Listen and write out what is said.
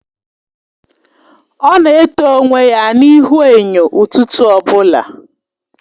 Ọ na eto onwe ya n'ihu enyo ụtụtụ ọbụla.